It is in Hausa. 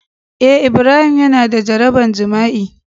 Eh Ibrahim Yana da jaraban jima'i